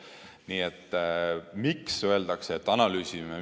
Nii et miks öeldakse, et analüüsime?